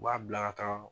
U b'a bila ka taa